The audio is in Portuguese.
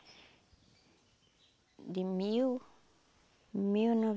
de mil mil